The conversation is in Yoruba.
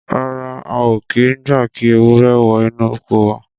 Rárá, a ò kì í gba kí ewúrẹ́ wọ inú oko wa.